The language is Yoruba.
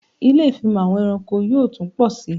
Ilé ìfimọ̀ àwọn ẹranko yóò tún pọ sí